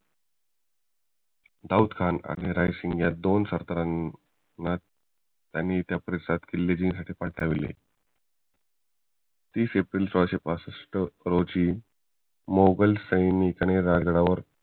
दाउद खाण आणि राय्सिंघ ह्या दोन सरदारांनी ते किल्ले जिंकायचे ठरविले तीस एप्रिल सोळाशे पासष्ठ रोजी मुघल सैन्यांनी रायगडावर